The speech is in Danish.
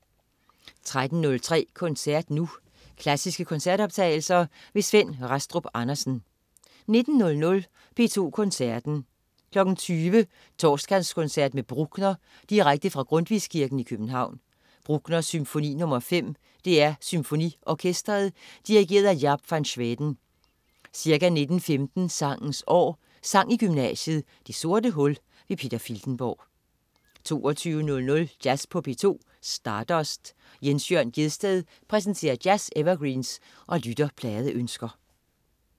13.03 Koncert Nu. Klassiske koncertoptagelser. Svend Rastrup Andersen 19.00 P2 Koncerten. 20.00 Torsdagskoncert med Bruckner. Direkte fra Grundtvigskirken, København. Bruckner: Symfoni nr. 5. DR SymfoniOrkestret. Dirigent: Jaap van Zweden. Ca. 19.15 Sangens År. Sang i gymnasiet, det sorte hul. Peter Filtenborg 22.00 Jazz på P2. Stardust. Jens Jørn Gjedsted præsenterer jazz-evergreens og lytterpladeønsker